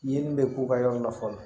Ye nin bɛ k'u ka yɔrɔ la fɔlɔ